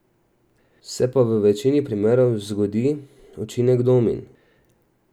Se pa v večini primerov zgodi učinek domin.